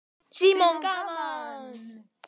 Símon: Gaman?